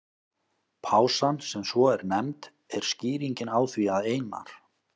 Pásan, sem svo er nefnd, er skýringin á því að Einar